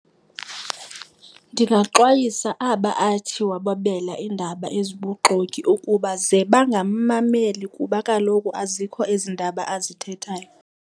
Ndingaxwayisa aba athi wababelela iindaba ezibuxoki ukuba ze bangamammeli kuba kaloku azikho ezi ndaba azithethayo.